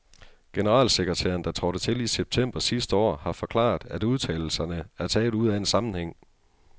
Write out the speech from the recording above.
Generalsekretæren, der trådte til i september sidste år, har forklaret, at udtalelserne er taget ud af en sammenhæng.